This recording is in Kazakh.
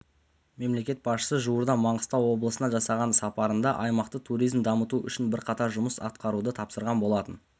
мемлекет басшысы жуырда маңғыстау облысына жасаған сапарында аймақта туризмді дамыту үшін бірқатар жұмыс атқаруды тапсырған болатын